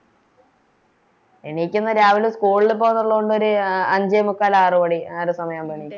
എണീക്കുന്നെ രാവിലെ School ല് പോകാനൊള്ളകൊണ്ട് ഒര് അഞ്ചേമുക്കാൽ ആറ് മണി ആ ഒരു സമയാവുമ്പോ എണീക്കും